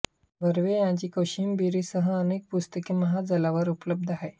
बर्वे यांची कोशिंबिरी सह अनेक पुस्तके महाजालावर उपलब्ध आहेत